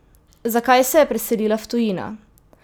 Zakaj se je preselila v tujino?